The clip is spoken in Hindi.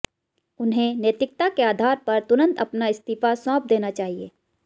उन्हें नैतिकता के आधार पर तुरंत अपना इस्तीफा सौंप देना चाहिए